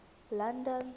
london